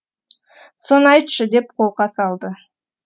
соны айтшы деп қолқа салды